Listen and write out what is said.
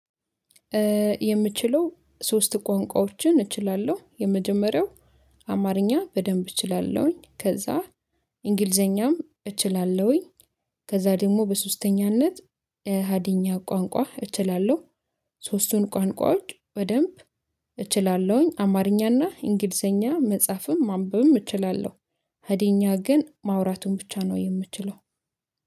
የምችለው ሶስት ቋንቋዎችን እችላለሁ የመጀመሪያው አማርኛ በደንብ እችላለሁኝ። ከዛ እንግሊዘኛም እችላለሁኝ። ከዛ ደግሞ በሶስተኛነት ሀዲኛ ቋንቋ እችላለሁ። ሶስቱን ቋንቋዎች በደንብ እችላለሁኝ። አማርኛና እንግሊዘኛ መጻፍም ማንበብም እችላለሁ ሀዲኛ ግን ማውራቱን ብቻ ነው የምችለው